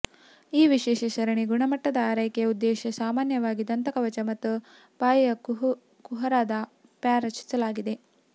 ಈ ವಿಶೇಷ ಸರಣಿ ಗುಣಮಟ್ಟದ ಆರೈಕೆಯ ಉದ್ದೇಶ ಸಾಮಾನ್ಯವಾಗಿ ದಂತಕವಚ ಮತ್ತು ಬಾಯಿಯ ಕುಹರದ ಫಾರ್ ರಚಿಸಲಾಯಿತು